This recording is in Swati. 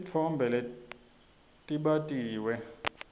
titfombe letbatiwe